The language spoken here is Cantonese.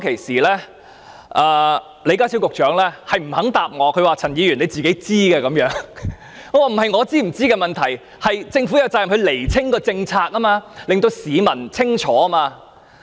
然而，問題並不在於我是否清楚知道，而是政府有責任釐清政策，令市民清楚明白。